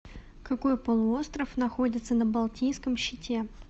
какой полуостров находится на балтийском щите